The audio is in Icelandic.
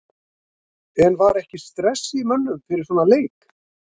En var ekki stress í mönnum fyrir svona leik?